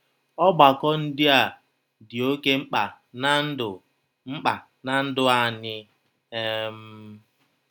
Ọgbakọ ndị a dị oké mkpa ná ndụ mkpa ná ndụ anyị. um